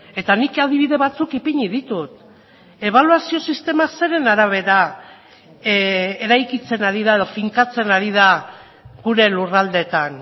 eta nik adibide batzuk ipini ditut ebaluazio sistema zeren arabera eraikitzen ari da edo finkatzen ari da gure lurraldeetan